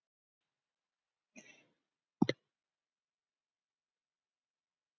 Einhvern tíma mun ég líka færa út landhelgina hjá þeim og kaupa stærra fiskabúr.